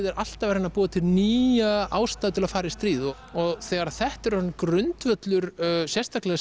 er alltaf að reyna að búa til nýja ástæðu til að fara í stríð og og þegar þetta er orðinn grundvöllur sérstaklega